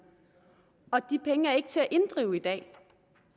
og de penge er ikke til at inddrive i dag